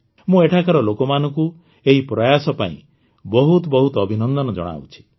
ମୁଁ ଏଠାକାର ଲୋକମାନଙ୍କୁ ଏହି ପ୍ରୟାସ ପାଇଁ ବହୁତ ବହୁତ ଅଭିନନ୍ଦନ ଜଣାଉଛି